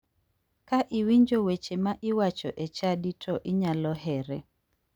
Ka iwinjo weche ma iwacho e chadi to inyalo here.